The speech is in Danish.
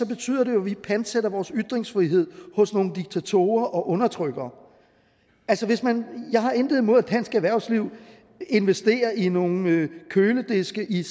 betyder det jo at vi pantsætter vores ytringsfrihed hos nogle diktatorer og undertrykkere jeg har intet imod at dansk erhvervsliv vil investere i nogle kølediske i